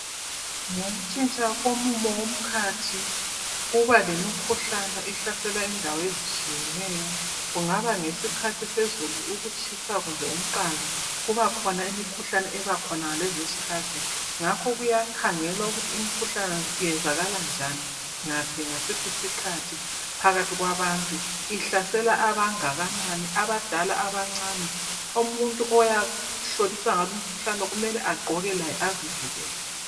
Ngokuntshintsha komumo womkhathi kubalemikhuhlane ehlasela indawo ezitshiyeneyo. Kungaba ngesikhathi sezulu ukutshisa kumbe umgqando kubakhona imikhuhlane ebakhona ngalezozkhathi ngakho kuyakhangelwa ukuthi imikhuhlane iyenzakala njani, ngaphi ngasiphi isikhathi phakathi kwabantu. Ihlasela abangakanani abadala abancani. Umuntu oyahlolisisa ngalumkhuhlane kumele agqoke laye azivikele.